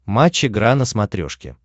матч игра на смотрешке